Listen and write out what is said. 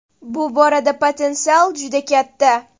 Bu borada potensial juda katta.